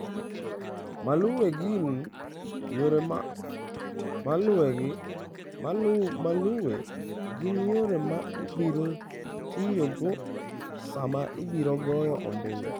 Maluwe gin yore ma ibiro tiyogo sama ibiro goyo ombulu.